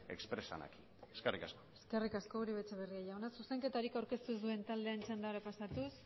expresan aquí eskerrik asko eskerrik asko uribe etxebarria jauna zuzenketarik aurkeztu ez duen taldearen txandara pasatuz